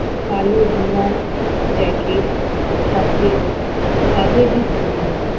কালো dinner jacket সাথে সাহাবী টুপি